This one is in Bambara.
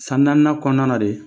San naaninan kɔnɔna na de